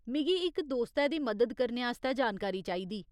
मिगी इक दोस्तै दी मदद करने आस्तै जानकारी चाहिदी।